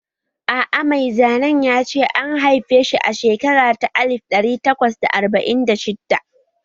A'a mai zanen ya ce an haife shi a shekara ta alif ɗari takwas da arba'in da shidda